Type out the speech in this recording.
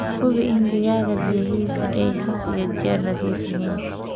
Hubi in digaagga biyahiisu ay had iyo jeer nadiif yihiin.